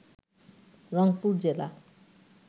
রংপুর জেলা